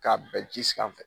K'a bɛn ji sanfɛ.